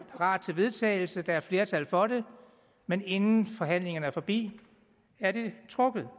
og klar til vedtagelse og der er flertal for det men inden forhandlingerne er forbi er det trukket